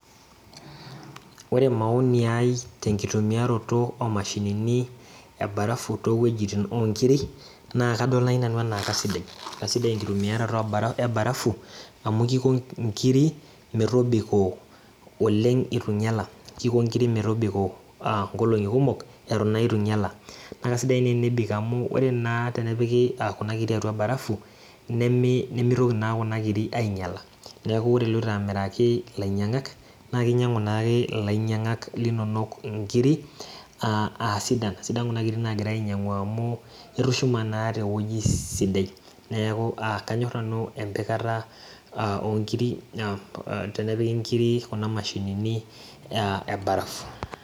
Ore maoni ai tenkitumiaroto omashinini e barafu towuejitin onkiri naa kadol naaji nanu anaa kasidai, kasidai enkitumiaroto e barafu amu kiko inkiri metobiko oleng' etu inyiala kiko inkiri uh nkolong'i kumok eton naa itu inyiala naa kasidai naa tenebik amu ore naa tenepiki uh kuna kiri atua barafu nemi nemitoki naa kuna kiri aiinyiala neku ore iloito amiraki ilainyiang'ak naa kinying'u naake ilainying'ak linonok inkiri uh asida sidan kuna kiri nagirae ainyiang'u amu itushuma naa tewueji sidai neeku uh kanyor nanu empikata onkiri uh tenepiki inkiri kuna mashinini ea e barafu.